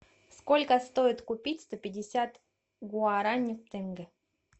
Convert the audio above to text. сколько стоит купить сто пятьдесят гуарани в тенге